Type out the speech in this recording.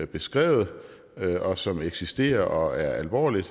beskrevet og som eksisterer og er alvorligt